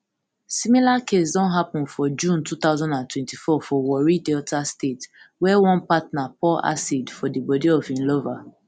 similar case don happun for june two thousand and twenty-four for warri delta state wia one partner pour acid for di bodi of im lover